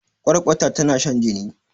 kwarkwata tana shan jini